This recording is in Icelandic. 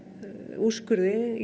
úrskurði í